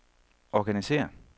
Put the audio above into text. organisér